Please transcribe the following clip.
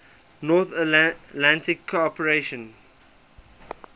north atlantic cooperation